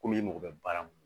Komi i mago bɛ baara mun na